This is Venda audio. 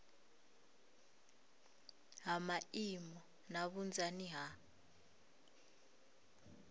ha maimo na vhunzani ha